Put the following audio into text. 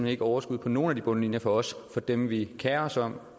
ikke overskud på nogen af de bundlinjer for os for dem vi kerer os om